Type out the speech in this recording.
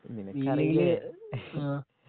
നിനക്കറിയില്ലേ ഇഹെ ആ